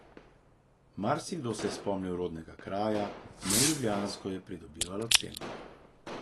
Marsikdo se je spomnil rodnega kraja, neljubljansko je pridobivalo ceno.